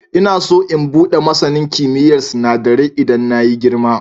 Ina so in buɗe masanin kimiyyar sinadarai idan na yi girima.